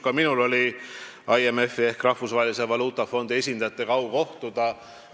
Ka minul oli IMF-i ehk Rahvusvahelise Valuutafondi esindajatega au kohtuda.